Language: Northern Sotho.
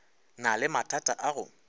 na le mathata a go